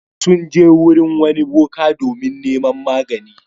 Sun je wurin wani boka domin neman magani.